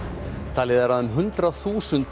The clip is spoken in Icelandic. talið er að um hundrað þúsund